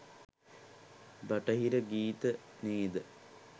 බටහිර ගීත නේද?